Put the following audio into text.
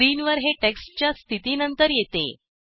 स्क्रीनवर हे टेक्स्टच्या स्थितीनंतर येते